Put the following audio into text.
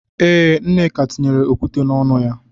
Ee, Nneka tinyere okwute n'ọnụ ya.